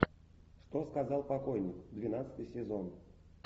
что сказал покойник двенадцатый сезон